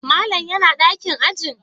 Malam yana dakin ajin?